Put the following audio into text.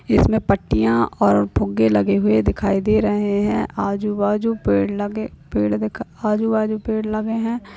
इसमें पट्टियां और फुग्गे लगे हुए दिखाई दे रहे हैं। आजू-बाजू पेड़ लगे पेड़ दिखा आजु बाजू पेड़ लगे हैं।